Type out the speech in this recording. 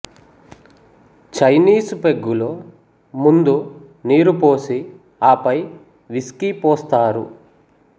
Chinese పెగ్గులో ముందు నీరు పోసి ఆపై విస్కీ పోస్తారు